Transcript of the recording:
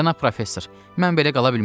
Cənab Professor, mən belə qala bilmərəm.